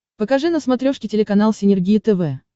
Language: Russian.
покажи на смотрешке телеканал синергия тв